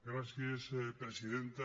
gràcies presidenta